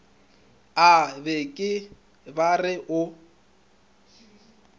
a beke ba re o